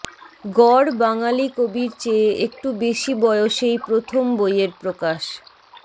গড় বাঙালি কবির চেয়ে একটু বেশি বয়সেই প্রথম বইয়ের প্রকাশ